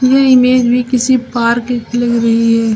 यह इमेज भी किसी पार्क की लग रही है।